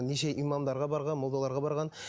неше имамдарға барған молдаларға барған